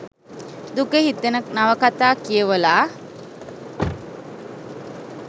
දුක හිතෙන නවකථා කියවලා